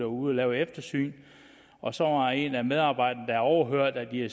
ude at lave et eftersyn og så var der en af medarbejderne der overhørte at de